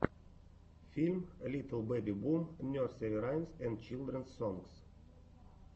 фильм литл бэби бум нерсери раймс энд чилдренс сонгс